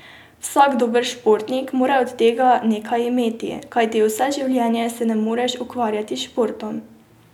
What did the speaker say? Vsak dober športnik mora od tega nekaj imeti, kajti vse življenje se ne moreš ukvarjati s športom.